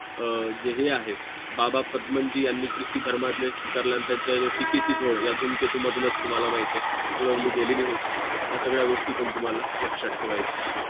जे हे आहे बाबा पदमनजी आणि ख्रिस्ती धर्मातल्या स्वीकारल्यानंतर टीकेची झोड या धूमकेतू मधूनच तुम्हाला माहित आहे उडवली गेली होती या सगळ्या गोष्टी पण तुम्हाला लक्षात ठेवायचे आहे आहे